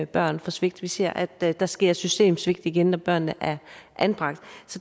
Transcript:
børn for svigt vi ser at der der sker et systemsvigt igen når børnene er anbragt